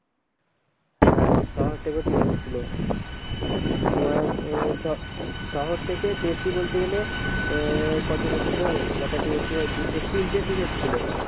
হ্যাঁ শহর থেকে team এসেছিলো তোমার আহ ক শহর থেকে বেশি বলতে গেলে আহ কজন এসেছিলো কটা টিম এসেছিল তো তিনটে team এসেছিলো